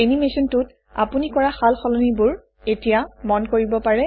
এনিমেচনটোত আপুনি কৰা সাল সলনিবোৰ এতিয়া মন কৰিব পাৰে